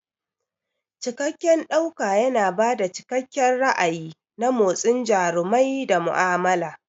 Cikakken ɗauka yana ba da cikakken ra'ayi na motsin jarumai da mu'amala.